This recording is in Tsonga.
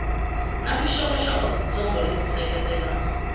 na vuxokoxoko byitsongo lebyi seketela